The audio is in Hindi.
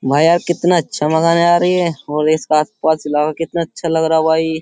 भाई यार कितना अच्छा मकान है यार ये और इसके आसपास इलाका कितना अच्छा लग रहा भाई।